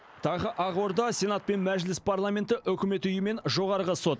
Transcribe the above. тағы ақорда сенат пен мәжіліс парламенті үкімет үйі мен жоғарғы сот